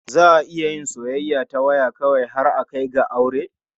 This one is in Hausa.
Za a iya yin soyayya ta waya kawai har a kai ga yin aure.